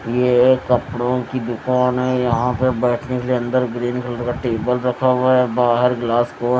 ये एक कपड़ों की दुकान है यहां पे बैठने के लिए अंदर ग्रीन कलर का टेबल रखा हुआ है। बाहर ग्लास को--